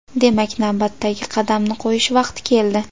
Demak, navbatdagi qadamni qo‘yish vaqti keldi.